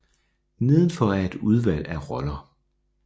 Nedenfor er et udvalg af roller